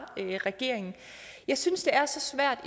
regeringen jeg synes det er så svært